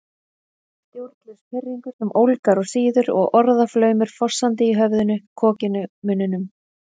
Stjórnlaus pirringur sem ólgar og sýður og orðaflaumur fossandi í höfðinu, kokinu, munninum